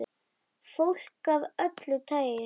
Fólk af öllu tagi.